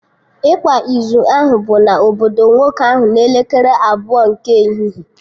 Ịkwa izu ahụ bụ na obodo nwoke ahụ n'elekere abụọ nke ehihie